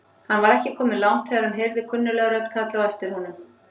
Hann var ekki kominn langt þegar hann heyrði kunnuglega rödd kalla á aftir honum.